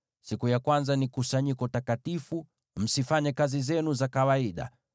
Siku ya kwanza ni kusanyiko takatifu, msifanye kazi zenu za kawaida.